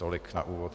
Tolik na úvod.